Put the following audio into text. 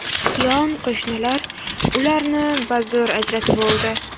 Yon qo‘shnilar ularni bazo‘r ajratib oldi.